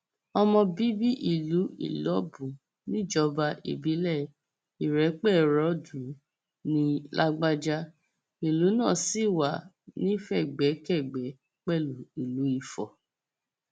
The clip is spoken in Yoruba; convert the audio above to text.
ọmọ bíbí ìlú ìlọbù níjọba ìbílẹ ìrèpéròdùn ní lágbájá ìlú náà sì wá nífẹgbẹkẹgbẹ pẹlú ìlú ifo